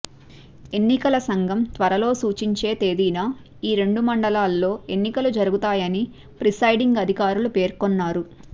ఎన్నికల సంఘం త్వరలో సూచించే తేదీన ఈ రెండు మండలాల్లో ఎన్నికలు జరుగుతాయని ప్రిసైడింగ్ అధికారులు పేర్కొన్నారు